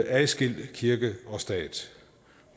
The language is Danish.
adskil kirke og stat